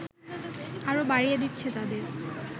আরো বাড়িয়ে দিচ্ছে তাদের